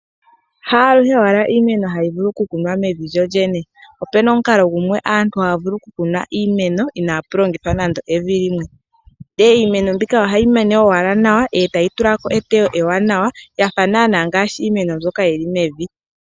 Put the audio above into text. Haluhe owala iimeno hayi vulu oku kunwa mevi lyo lyene, opuna omukalo gumwe aantu haya vulu oku kuna iimeno inapu longithwa nande evi limwe, nde iimeno mbika ohayi mene owala nawa etayi tulako etewo ewanawa yafa nana ngashi iimeno mbyoka yili meni.